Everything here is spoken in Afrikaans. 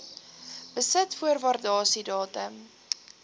besit voor waardasiedatum